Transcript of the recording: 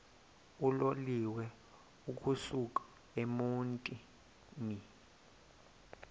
uloliwe ukusuk emontini